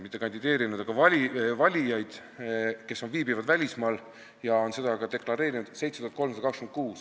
Mitte kandideerinud, vaid valijaid, kes viibivad välismaal ja on seda ka deklareerinud, oli seal 7326.